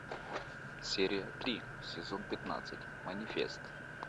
серия три сезон пятнадцать манифест